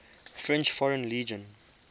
french foreign legion